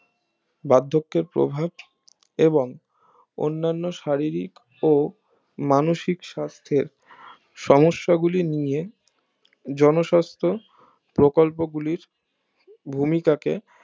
ব্যাধকের প্রভাব এবং অন্নান্য শারীরিক ও মানসিক সাস্থের সমস্যা গুলি নিয়ে জনস্বাস্থ প্রকল্প গুলির ভূমিকাকে